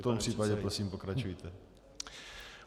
V tom případě prosím pokračujte.